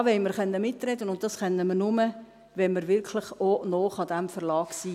Da wollen wir mitreden können, und dies können wir nur, wenn wir wirklich auch nah an diesem Verlag sind.